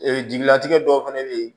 Ee jigilatigɛ dɔw fana bɛ yen